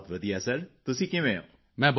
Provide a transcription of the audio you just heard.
ਬਸ ਵਧੀਆ ਸਰ ਤੁਸੀਂ ਕਿਵੇਂ ਹੋ